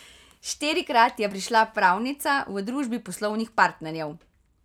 Štirikrat je prišla Pravnica, v družbi poslovnih partnerjev.